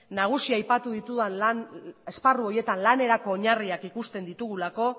nagusia aipatu ditudan esparru horietan lanerako oinarriak ikusten ditugulako